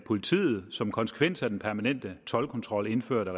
politiet som konsekvens af den permanente toldkontrol indført af